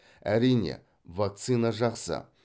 әрине вакцина жақсы